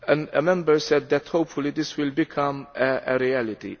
One Member said that hopefully this will become a reality.